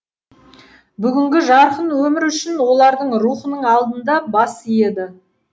бүгінгі жарқын өмір үшін олардың рухының алдында бас иеді